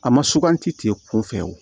A ma suganti tile kun fɛ wo